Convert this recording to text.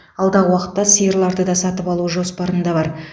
алдағы уақытта сиырларды да сатып алу жоспарында бар